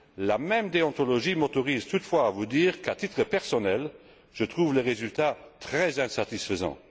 La même déontologie m'autorise toutefois à vous dire qu'à titre personnel, je trouve les résultats très insatisfaisants.